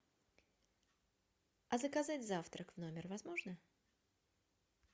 а заказать завтрак в номер возможно